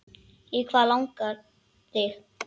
Í hvað langar þig?